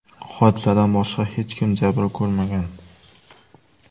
Hodisadan boshqa hech kim jabr ko‘rmagan.